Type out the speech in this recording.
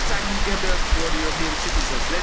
upon us. Let's act together for the European